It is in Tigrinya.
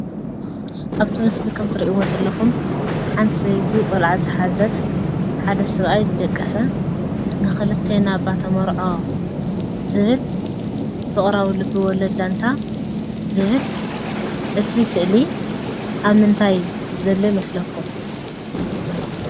ኣብቲ ምስሊ ከምትሪእዎ ዘለኹም ሓንቲ ሰበይቲ ቆልዓ ዝሓዘት፣ ሓደ ሰብኣይ ዝደቀሰን ንኽልቴና እባ ተመርዖ ዝብል ፍቕራዊ ልበወለድ ዛንታ ዝብል እቲ ስእሊ ኣብ ምንታይ ዘሎ ይመስለኩም?